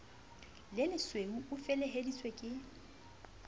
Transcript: le lesweu o feleheditswe ke